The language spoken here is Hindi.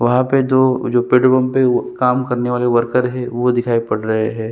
वहां पे दो जो पेट्रोल पंप पे काम करने वाले वर्कर है वो दिखाई पड़ रहे है ।